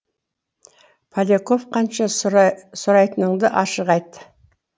поляков қанша сұрайтыныңды ашық айт